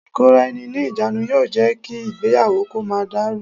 Ìkóra ẹni ní ìjánu yóò jẹ́ kí ìgbéyàwó kó má dàrú.